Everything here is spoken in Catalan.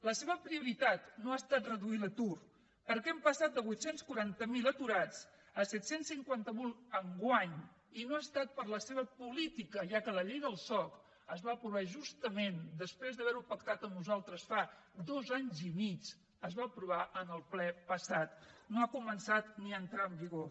la seva prioritat no ha estat reduir l’atur perquè hem passat de vuit cents i quaranta miler aturats a set cents i cinquanta miler enguany i no ha estat per la seva política ja que la llei del soc es va aprovar justament després d’haver ho pactat amb nosaltres fa dos anys i mig es va aprovar en el ple passat no ha començat ni a entrar en vigor